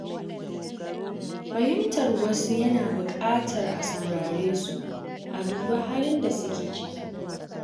Fahimtar wasu yana buƙatar a sauraresu, a dubi halin da suke ciki.